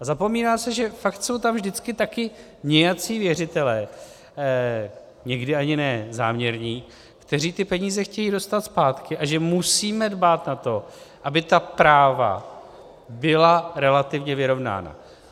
A zapomíná se, že fakt jsou tam vždycky taky nějací věřitelé, někdy ani ne záměrní, kteří ty peníze chtějí dostat zpátky, a že musíme dbát na to, aby ta práva byla relativně vyrovnána.